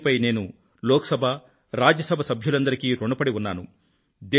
దీనిపై నేను లోక్ సభ రాజ్య సభ సభ్యులందరికీ రుణపడి ఉన్నాను